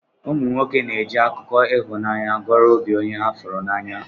Ụmụnwoke na eji akụkọ ihụnanya goro obi onye ha furu n'anya.